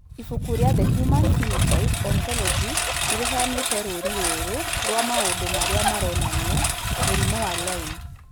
Ibuku rĩa The Human Phenotype Ontology nĩ rĩheanĩte rũũrĩ rũrũ rwa maũndũ marĩa maronania mũrimũ wa Lyme.